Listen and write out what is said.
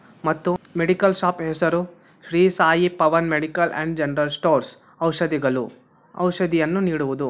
ಮತ್ತು medical shop ಹೆಸರು Shri Sai Pavan medical and general stores ಔಷದಿಗಳು ಔಷದಿಯನ್ನು ನೀಡುವುದು.